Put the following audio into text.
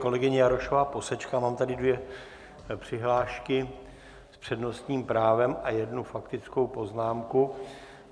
Kolegyně Jarošová posečká, mám tady dvě přihlášky s přednostním právem a jednu faktickou poznámku.